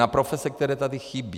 Na profese, které tady chybí.